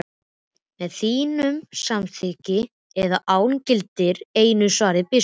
Með þínu samþykki eða án, gildir einu, svaraði biskup.